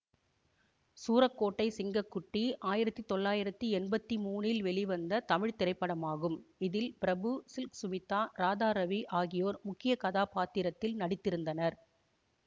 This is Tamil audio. சூரக்கோட்டை சிங்க குட்டி ஆயிரத்தி தொள்ளாயிரத்தி எம்பத்தி மூனில் வெளிவந்த தமிழ் திரைப்படமாகும் இதில் பிரபு சில்க ஸ்மிதா ராதாரவி ஆகியோர் முக்கிய கதாப்பாத்திரத்தில் நடித்திருந்தனர்